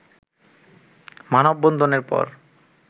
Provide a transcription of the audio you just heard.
মানববন্ধনের পর